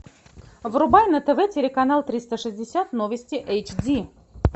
врубай на тв телеканал триста шестьдесят новости эйч ди